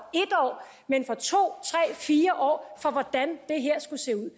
men for to tre fire år for hvordan det her skulle se ud